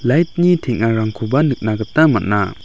light-ni teng·arangkoba nikna gita man·a.